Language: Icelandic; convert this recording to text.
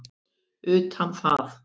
utan það.